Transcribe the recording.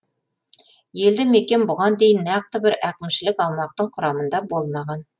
елді мекен бұған дейін нақты бір әкімшілік аумақтың құрамында болмаған